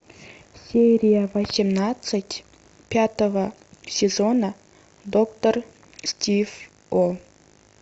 серия восемнадцать пятого сезона доктор стив о